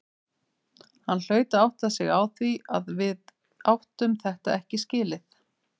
Hann hlaut að átta sig á því að við áttum þetta ekki skilið.